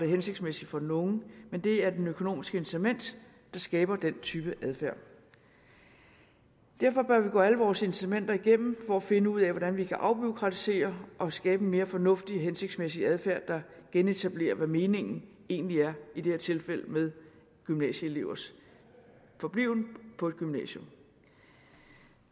hensigtsmæssige for den unge men det er det økonomiske incitament der skaber den type adfærd derfor bør vi gå alle vores incitamenter igennem for at finde ud af hvordan vi kan afbureaukratisere og skabe en mere fornuftig og hensigtsmæssig adfærd der genetablerer hvad meningen egentlig er i det her tilfælde med gymnasieelevers forbliven på et gymnasium